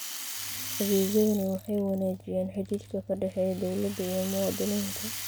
Adeegyadani waxay wanaajiyaan xidhiidhka ka dhexeeya dawladda iyo muwaadiniinta.